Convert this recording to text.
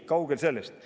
Kaugel sellest.